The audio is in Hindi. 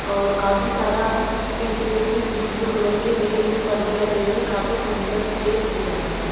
और काफी सारा पीछे देखिए ब्लू ब्लू कलर के नीले नीले पर्दे लगे हुए है काफी सुंदर स्टेज दिख रहा है।